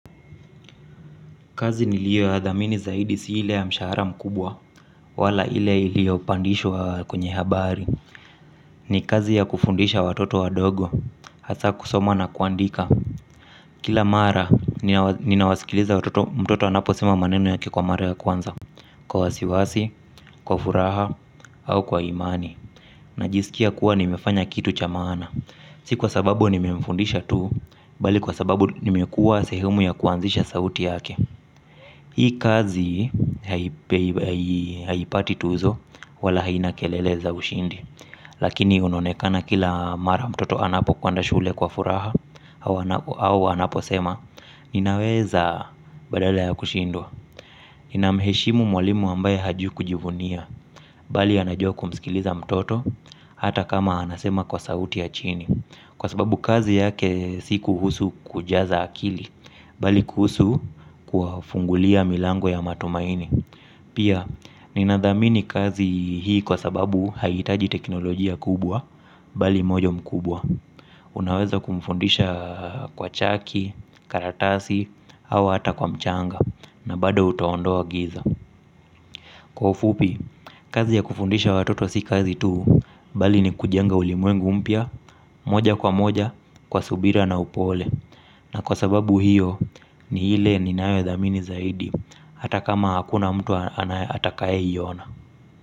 Kazi niliyo ya dhamini zaidi si ile ya mshahara mkubwa wala ile ilio pandishwa kwenye habari. Ni kazi ya kufundisha watoto wadogo hasa kusoma na kuandika. Kila mara ninawasikiliza watoto mtoto anaposema maneno yake kwa mara ya kwanza. Kwa wasiwasi, kwa furaha au kwa imani najisikia kuwa nimefanya kitu cha maana. Si kwa sababu nime mfundisha tuu bali kwa sababu nimekuwa sehemu ya kuanzisha sauti yake. Hii kazi haipati tuzo wala haina kelele za ushindi. Lakini unaonekana kila mara mtoto anapo kwenda shule kwa furaha au anapo au anapo sema, ninaweza badala ya kushindwa. Ninamheshimu mwalimu ambaye hajui kujivunia. Bali anajua kumsikiliza mtoto. Hata kama anasema kwa sauti ya chini kwa sababu kazi yake si kuhusu kujaza akili bali kuhusu kuwa fungulia milango ya matumaini pia ninadhamini kazi hii kwa sababu haihitaji teknolojia kubwa bali moyo mkubwa unaweza kumfundisha kwa chaki, karatasi au hata kwa mchanga na bado utaondoa giza kwa ufupi kazi ya kufundisha watoto si kazi tuu bali ni kujenga ulimwengu mpya moja kwa moja kwa subira na upole. Na kwa sababu hiyo ni ile inayodhamini zaidi. Hata kama hakuna myu atakaye iona.